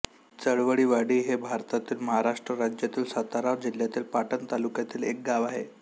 चवळीवाडी हे भारतातील महाराष्ट्र राज्यातील सातारा जिल्ह्यातील पाटण तालुक्यातील एक गाव आहे